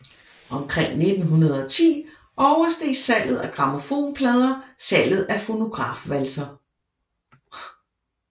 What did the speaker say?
Omkring 1910 oversteg salget af grammofonplader salget af fonografvalser